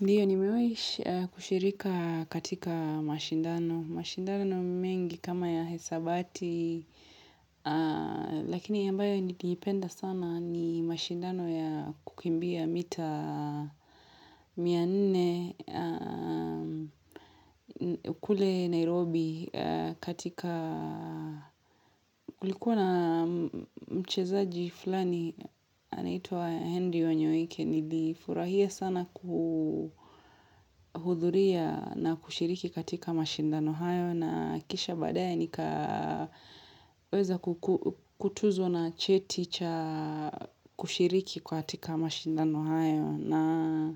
Ndiyo nimewahi kushirika katika mashindano. Mashindano mengi kama ya hesabati, lakini ambayo niliipenda sana ni mashindano ya kukimbia mita mia nne kule Nairobi katika. Kulikuwa na mchezaji fulani anaitwa Henry wanyoike, Nilifurahia sana kuhudhuria na kushiriki katika mashindano hayo na kisha baadaye nikaweza kutunzwo na cheti cha kushiriki katika mashindano hayo na